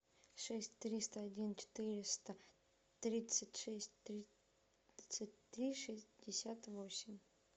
шесть триста один четыреста тридцать шесть тридцать три шестьдесят восемь